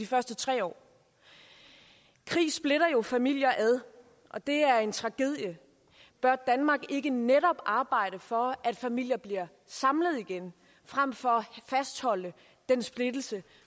første tre år krig splitter jo familier ad og det er en tragedie bør danmark ikke netop arbejde for at familier bliver samlet igen frem for at fastholde den splittelse